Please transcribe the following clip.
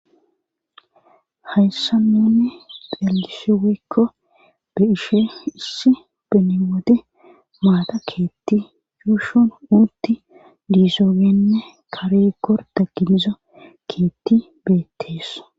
Hayssan nuni xeelishshe woykko be'ishhishe issi beni wode maatta keetti yuushun utti di'esooninne kare gorda giniza keetti beettees